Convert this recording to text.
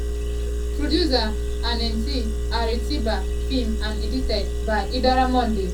producer: annette arotiba filmed and edited by idara monday